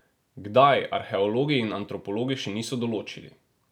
Kdaj, arheologi in antropologi še niso določili.